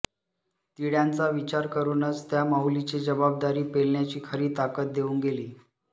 तिळ्यांचा विचार करूनच त्या माऊलीची जबाबदारी पेलण्याची खरी ताकद देऊन गेली